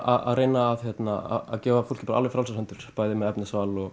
að reyna að gefa fólki alveg frjálsar hendur bæði með efnisval og